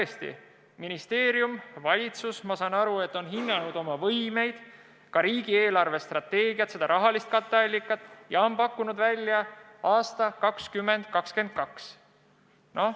Aga ministeerium ja valitsus, ma saan aru, on hinnanud oma võimekust, sh riigi eelarvestrateegiat, vajalikku katteallikat, ja on pakkunud välja aasta 2022.